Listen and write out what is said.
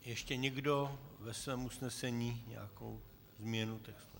Ještě někdo ve svém usnesení nějakou změnu textu?